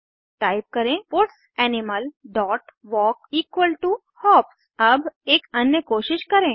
type करें puts animal dot walk equal to hops अब एक अन्य कोशिश करें